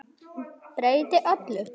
Breytti öllu.